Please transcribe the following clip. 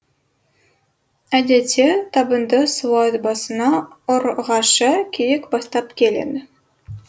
әдетте табынды суат басына ұрғашы киік бастап келеді